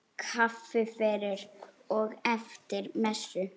Kaffi fyrir og eftir messu.